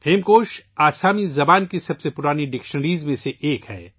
ہیمکوش آسامی زبان کی سب سے پرانی لغت میں سے ایک ہے